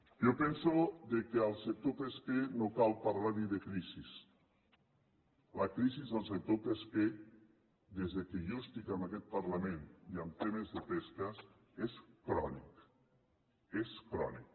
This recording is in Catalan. jo penso que al sector pesquer no cal parlar li de crisi la crisi del sector pesquer des que jo estic en aquest parlament i en temes de pesca és crònica és crònica